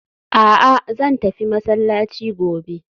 A'a! Zan tafi masallaci gobe